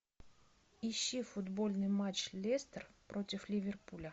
ищи футбольный матч лестер против ливерпуля